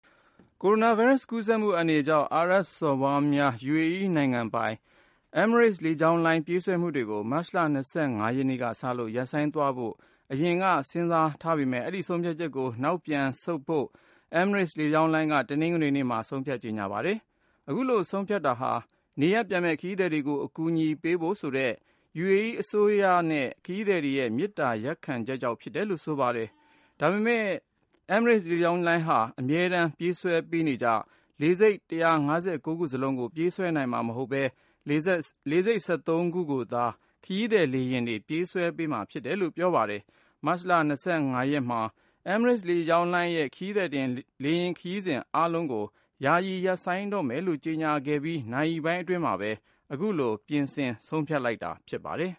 ကိုရိုနာဗိုင်းရပ်စ် ကူးစက်မှု အန္တရာယ်ကြောင့် အာရပ်စော်ဘွားများနိုင်ငံ (UAE) ပိုင် Emirates လေကြောင်းလိုင်း ပြေးဆွဲမှုတွေကို မတ်လ ၂၅ ရက်နေ့ကစလို့ ရပ်ဆိုင်းသွားဖို့ အရင်က စဉ်းစားထားပေမယ့် အဲဒီဆုံးဖြတ်ချက်ကို နောက်ပြန်ဆုတ်ဖို့ Emirates လေကြောင်းလိုင်းက တနင်္ဂနွေနေ့မှာ ဆုံးဖြတ် ကြေညာလိုက်ပါတယ်။ အခုလိုဆုံးဖြတ်တာဟာ နေရပ်ပြန်မယ့် ခရီးသည်တွေကို အကူအညီပေးဖို့ဆိုတဲ့ UAE အစိုးရနဲ့ ခရီးသည်တွေရဲ့ မေတ္တာရပ်ခံချက်ကြောင့် ဖြစ်တယ်လို့ ဆိုပါတယ်။ ဒါပေမယ့် Emirates လေယာဉ်လိုင်းဟာ အမြဲတမ်း ပြေးဆွဲပေးနေကျ လေဆိပ် ၁၅၉ ခုစလုံးကို ပြေးဆွဲနိုင်မှာမဟုတ်ဘဲ လေဆိပ် ၁၃ ခုကိုသာ ခရီးသည်လေယာဉ်တွေ ပြေးဆွဲပေးမှာ ဖြစ်တယ်လို့ ဆိုပါတယ်။ မတ်လ ၂၅ ရက်မှာ Emirates လိုင်းရဲ့ ခရီးသည်တင် လေယာဉ်ခရီးစဉ် အားလုံးကို ယာယီရပ်ဆိုင်းတော့မယ်လို့ ကြေညာခဲ့ပြီး နာရီပိုင်းအတွင်းမှာပဲ အခုလို ပြင်ဆင်ဆုံးဖြတ်လိုက်တာ ဖြစ်ပါတယ်